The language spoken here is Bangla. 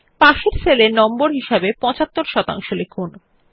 পাশের সেল এ নম্বর হিসাবে ৭৫ শতাংশ লিখুন